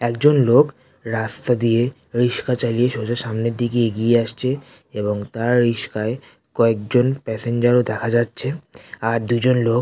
একজন লোক রাস্তা দিয়ে রিক্সা চালিয়ে সোজা সামনের দিকে এগিয়ে আসছে এবং তার রিক্সায় কয়েক জন প্যাসেঞ্জার দেখা যাচ্ছে আর দুজন লোক --